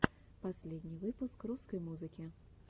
последний выпуск русской музыки